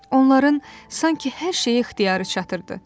Onların sanki hər şeyi ixtiyarı çatırdı.